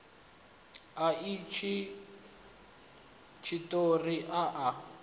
a itshi tshiṱori a a